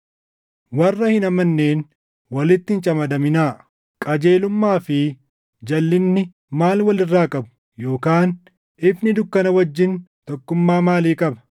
Warra hin amanneen walitti hin camadaminaa. Qajeelummaa fi jalʼinni maal wal irraa qabu? Yookaan ifni dukkana wajjin tokkummaa maalii qaba?